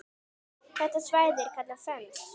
Þetta svæði er kallað Fens.